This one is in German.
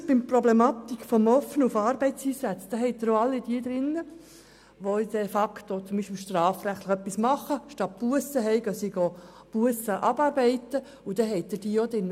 Erachtet man auch Arbeitseinsätze und die Teilnahme an Integrationsprogrammen als genügende Bemühung, sind auch Personen von der Kürzung verschont, die zum Beispiel anstatt eine Busse zu bezahlen diese abarbeiten.